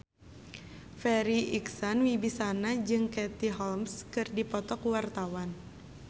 Farri Icksan Wibisana jeung Katie Holmes keur dipoto ku wartawan